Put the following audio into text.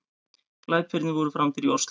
Glæpirnir voru framdir í Ósló